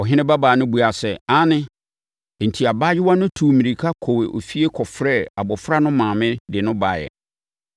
Ɔhene babaa no buaa sɛ, “Aane.” Enti, abaayewa no tuu mmirika kɔɔ efie kɔfrɛɛ abɔfra no maame de no baeɛ.